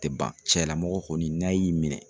Tɛ ban cɛlamɔgɔ kɔni n'a y'i minɛ.